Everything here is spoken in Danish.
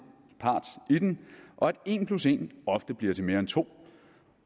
og at en plus en ofte bliver til mere end to